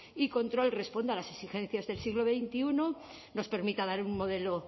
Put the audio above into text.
y control responda a las exigencias del siglo veintiuno nos permita dar un modelo